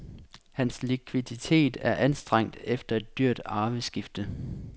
Hans likviditet er anstrengt efter et dyrt arveskifte.